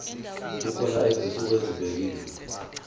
kukhona izinsuku ezibekiwe